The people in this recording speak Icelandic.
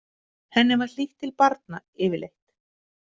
Henni var hlýtt til barna yfirleitt.